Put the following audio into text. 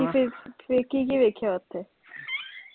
ਫਿਰ ਕੀ ਕੀ ਵੇਖਿਆ ਓਥੇ?